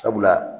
Sabula